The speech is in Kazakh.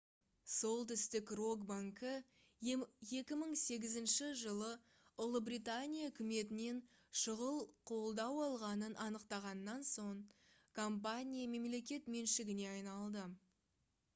солтүстік рок банкі 2008 жылы ұлыбритания үкіметінен шұғыл қолдау алғанын анықтағаннан соң компания мемлекет меншігіне айналды